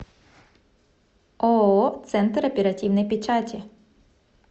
ооо центр оперативной печати